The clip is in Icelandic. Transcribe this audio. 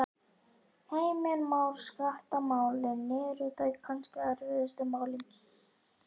Heimir Már: Skattamálin, eru þau kannski erfiðustu málin?